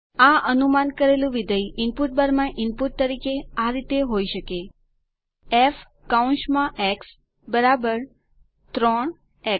આ અનુમાન કરેલું વિધેય ઇનપુટબારમાં ઇનપુટ તરીકે આ રીતે હોય શકે ફ 3 એક્સ